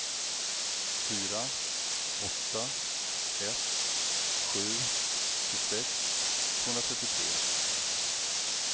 fyra åtta ett sju tjugosex tvåhundratrettiotre